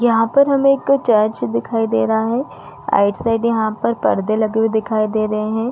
यहाँ पर हमें एक चर्च दिखाई दे रहा है आइड-साइड यहाँ पे पर्दे लगे हुए दिखाई दे रहे है।